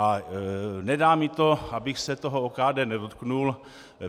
A nedá mi to, abych se toho OKD nedotkl.